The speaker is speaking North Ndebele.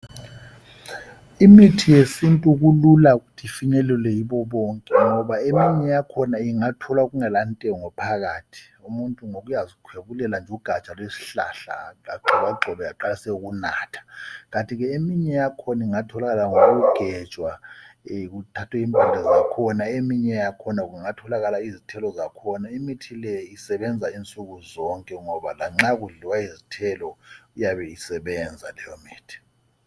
Imithi yesintu kulula ukuthi ifinyelelwe yibo bonke, ngoba eminye yakhona ingatholwa kungelantengo phakathi. Umuntu ngoba uyazikhwebulela nje ugaja lwesihlahla. Agxobagxobe, aqalise ukunatha. Kanti ke eminye yakhona ingathokakala ngokugejwa, kuthathwe impande zakhona. Eminye yakhona kungatholakala izithelo zakhona. Imithi le isebenza unsuku zonke, ngoba lanxa kudlliwa izithelo, iyabe isebenza leyomithi.